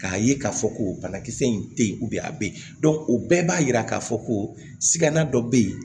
K'a ye k'a fɔ ko banakisɛ in tɛ ye a bɛ yen o bɛɛ b'a yira k'a fɔ ko sigana dɔ bɛ yen